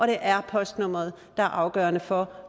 det er postnummeret der er afgørende for